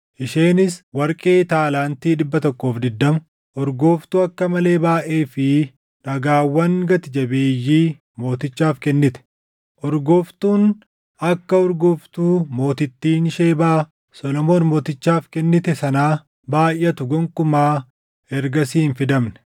Isheenis warqee taalaantii 120, urgooftuu akka malee baayʼee fi dhagaawwan gati jabeeyyii mootichaaf kennite. Urgooftuun akka urgooftuu mootittiin Shebaa Solomoon Mootichaaf kennite sanaa baayʼatu gonkumaa ergasii hin fidamne.